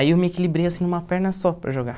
Aí eu me equilibrei numa perna só para jogar.